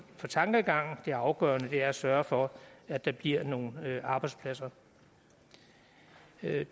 for tankegang det afgørende er at sørge for at der bliver nogle arbejdspladser